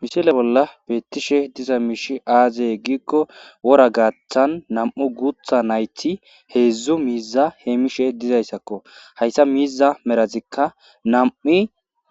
Mishile bolla beettishe diza miishi aaze gikko wora gaaththan nam'u guutha nayti heedzdzu miiza heemishe dizayssakko, hayssa miiza merazikka nam'i